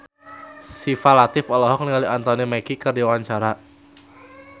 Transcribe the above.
Syifa Latief olohok ningali Anthony Mackie keur diwawancara